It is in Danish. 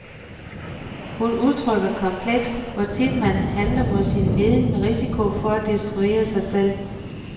Hun udtrykker komplekst, hvor tit man handler mod sin viden med risiko for at destruere sig selv.